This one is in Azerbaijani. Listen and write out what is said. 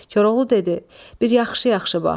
Koroğlu dedi: Bir yaxşı-yaxşı bax.